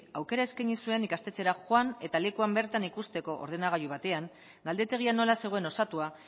aukera eskaini zuen ikastetxera joan eta lekuan bertan ikusteko ordenagailu batean galdetegia nola zegoen osatua